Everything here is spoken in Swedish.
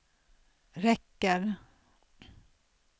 räcker